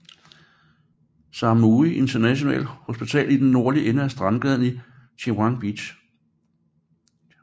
Samui International Hospital i den nordlige ende af strandgaden i Chaweng Beach